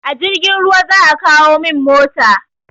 A jirgin ruwa za a kawo min mota.